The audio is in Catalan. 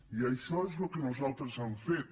i això és el que nosaltres hem fet